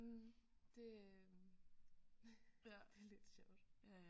Mh det øh ja det er lidt sjovt